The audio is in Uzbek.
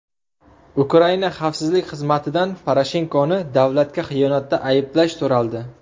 Ukraina xavfsizlik xizmatidan Poroshenkoni davlatga xiyonatda ayblash so‘raldi.